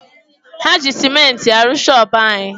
Ha ji sementi aru shoopu anyi.